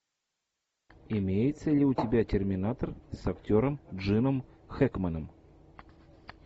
имеется ли у тебя терминатор с актером джином хэкменом